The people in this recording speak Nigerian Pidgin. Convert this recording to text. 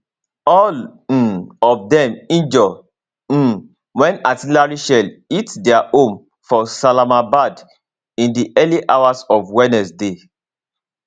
all um of dem injure um wen artillery shell hit dia home for salamabad in di early hours of wednesday